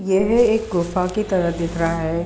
येह एक गुफा की तरह दिख रहा है|